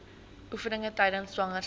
oefeninge tydens swangerskap